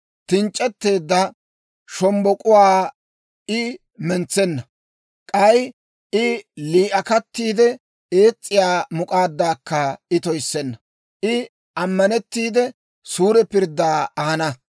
Tinc'c'etteedda shombbok'uwaa I mentsenna; k'ay lii'akattiide ees's'iyaa muk'aaddaakka I toyissenna. I ammanettiide, suure pirddaa ahana.